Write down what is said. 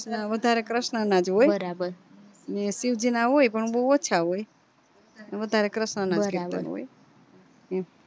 વધારે ક્રષ્ણ નજ હોય ને શિવજીના હોય પણ બૌ ઓછા હોય વધારે ક્રષ્ણ ના કીર્તન હોય